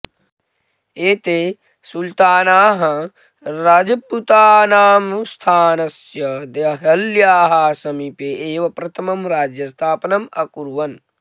एते सुल्तानाः रजपूतानां स्थानस्य देहल्याः समीपे एव प्रथमं राज्यस्थापनम् अकुर्वन्